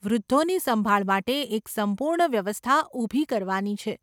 વૃદ્ધોની સંભાળ માટે એક સંપૂર્ણ વ્યવસ્થા ઊભી કરવાની છે.